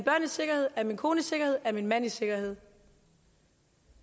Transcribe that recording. sikkerhed er min kone i sikkerhed er min mand i sikkerhed